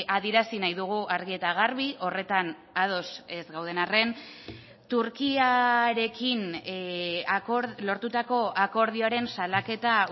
adierazi nahi dugu argi eta garbi horretan ados ez gauden arren turkiarekin lortutako akordioaren salaketa